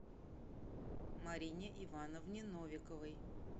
марине ивановне новиковой